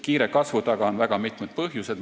Kiire kasvu taga on aga mitmeid põhjuseid.